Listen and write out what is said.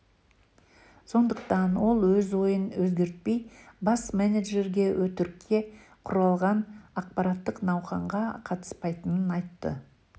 сондықтан ол өз ойын өзгертпей бас менеджерге өтірікке құрылған ақпараттық науқанға қатыспайтынын айтты